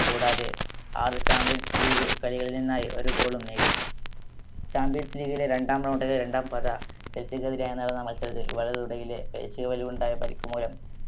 കൂടാതെ ആറ് champions league കളികളിൽ നിന്നായി ഓരോ goal ഉം നേടി champions league ലെ രണ്ടാം round ലെ രണ്ടാം പാത മെസ്സിക്കെതിരെ നടന്ന മത്സരത്തിൽ വലത് തുടയിലെ പേശികളിലുണ്ടായ പരിക്ക് മൂലം